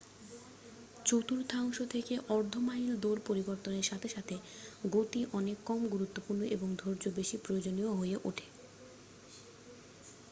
চতুর্থাংশ থেকে অর্ধ মাইল দৌড় পরিবর্তনের সাথে সাথে গতি অনেক কম গুরুত্বপূর্ণ এবং ধৈর্য বেশি প্রয়োজনীয় হয়ে ওঠে